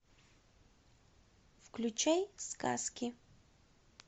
включай сказки